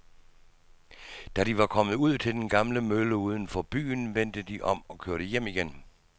Da de var kommet ud til den gamle mølle uden for byen, vendte de om og kørte hjem igen.